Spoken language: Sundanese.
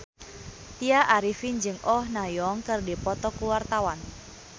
Tya Arifin jeung Oh Ha Young keur dipoto ku wartawan